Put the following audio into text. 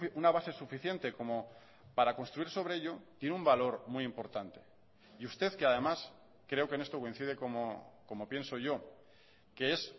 una base suficiente como para construir sobre ello tiene un valor muy importante y usted que además creo que en esto coincide como pienso yo que es